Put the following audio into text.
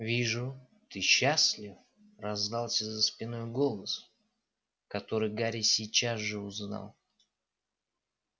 вижу ты счастлив раздался за спиной голос который гарри сейчас же узнал